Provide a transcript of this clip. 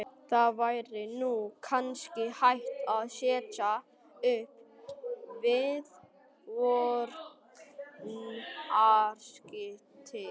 Það væri nú kannski hægt að setja upp viðvörunarskilti